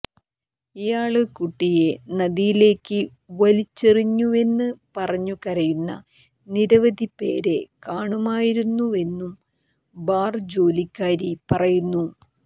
ഇയാള് കുട്ടിയെ നദിയിലേക്ക് വലിച്ചെറിഞ്ഞുവെന്ന് പറഞ്ഞു കരയുന്ന നിരവധി പേരെ കാണാമായിരുന്നുവെന്നും ബാര്ജോലിക്കാരി പറയുന്നു